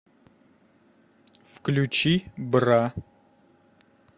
включи бра